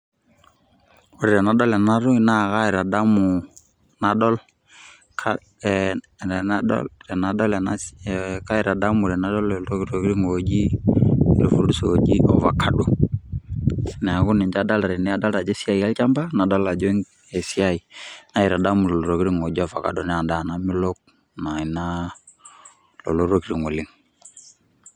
Ore tenadol enatoki naa kaitadamu nadol, kaitadamu tenadol iltokiting' oji i fruits oji ovacado ,neeku ninche adolta tene. Adolta ajo esiai olchamba, nadol ajo esiai naitadamu lelo tokiting' oji ofakado, na endaa namelok naa ina lolo tokiting oleng'.